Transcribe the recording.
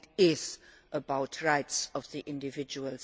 It is about the rights of the individual.